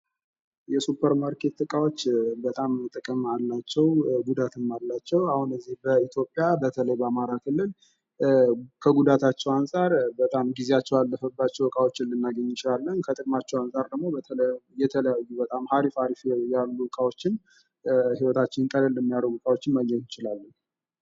የሱፐር ማርኬት እቃዋች በጣም ጥቅም አላቸው ጉዳትም አላቸው አሁን በዚህ በኢትዮጵያ በተለይ በአማራ ክልል ከጉዳታቸው አንፃር በጣም ጊዜያቸው ያለፈባቸው እቃዎችን ልናገኝ እንችላለን ፤ ከጥቅማቸው አንጻር ደግሞ የተለዩ በጣም አሪፍ አሪፍ ያሉ እቃዎችን ህይወታችንን ቀለል የሚያደርግ እቃዎች ማግኘት እንችላለን ::